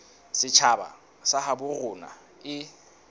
setjhaba sa habo rona e